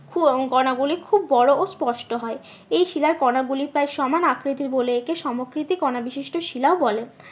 কণাগুলি খুব বড়ো স্পষ্ট হয়। এই শিলার কণা গুলি প্রায় সমান আকৃতির বলে একে সমকৃতি কণা বিশিষ্ট শিলাও বলে